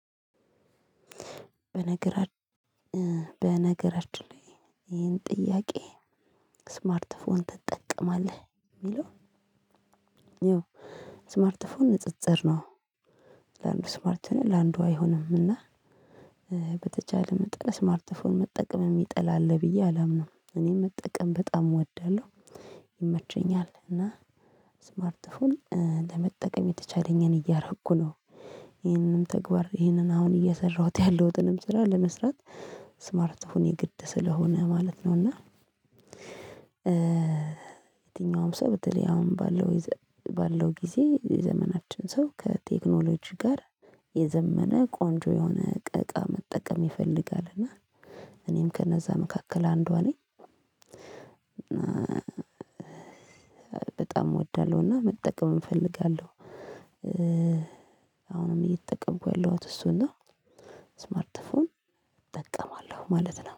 በነገራችን በነገራችን ላይ ይሄን ጥያቄ ስማርትፎን ትጠቀማለህ የሚለው? ይኸው ስማርትፎን ንጽጽር ነው። ስማርት ነው ለአንዱ አይሆንም እና። በተቻለ መጠን ስማርትፎን መጠቀም የሚጠላለህ ብዬ አላምንም እኔ መጠቀም በጣም እወዳለሁ። ይመቸኛል እና ስማርትፎን ለመጠቀም የተቻለኝን እያረኩ ነው። ይሄንን ተግባር ይሄንን አሁን እየሰራሁት ያለሁትንም ስራ ለመስራት ስማርትፎን የግድ ስለሆነ ማለት ነው። እና የትኛውም ሰው በተለይ አሁን ባለው ባለው ጊዜ የዘመናችን ሰው ከቴክኖሎጂ ጋር የዘመነ ቆንጆ የሆነ እቃ መጠቀም ይፈልጋል እና እኔም ከነዛ መካከል አንዷ ነኝ። በጣም እወዳለሁና መጠቀም እፈልጋለሁ። አሁንም እየተጠቀምኩ ያለሁት እሱና ነው። ስማርትፎን እጠቀማለሁ ማለት ነው